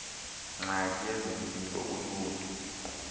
ngxaki yezempilo uluntu